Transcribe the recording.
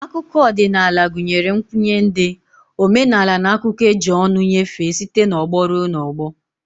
Akụkọ odinaala gunyere nkwnye ndi, omenala n'akuko eji ọnụ nyefee site n'ọgbọ rue n'ogbo.